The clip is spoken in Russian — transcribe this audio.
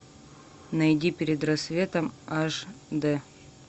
найди перед рассветом аш д